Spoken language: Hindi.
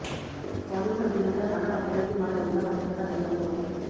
बॉलीवुड अभिनेता नाना पाटेकर की मां निर्मला पाटेकर का देहांत हो गया